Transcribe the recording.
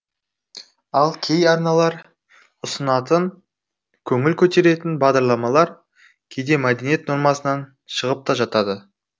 ал кей арналар ұсынатын көңіл көтеретін бағдарламалар кейде мәдениет нормасынан шығып та жатады